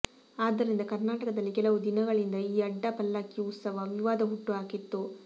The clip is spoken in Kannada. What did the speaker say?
ಆದ್ದರಿಂದ ಕರ್ನಾಟಕದಲ್ಲಿ ಕೆಲವು ದಿನಗಳಿಂದ ಈ ಅಡ್ಡ ಪಲ್ಲಕ್ಕಿ ಉತ್ಸವ ವಿವಾದ ಹುಟ್ಟು ಹಾಕಿತ್ತು